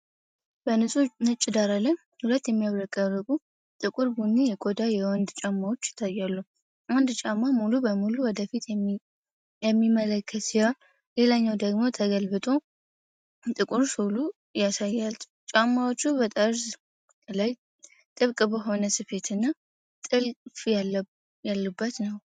በንጹህ ነጭ ዳራ ላይ ሁለት የሚያብረቀርቁ ጥቁር ቡኒ የቆዳ የወንዶች ጫማዎች ይታያሉ። አንድ ጫማ ሙሉ በሙሉ ወደፊት የሚመለከት ሲሆን ሌላኛው ደግሞ ተገልብጦ ጥቁር ሶሉን ያሳያል። ጫማዎቹ በጠርዝ ላይ ጥብቅ በሆነ ስፌትና ጥልፍ ያሉበት ነው።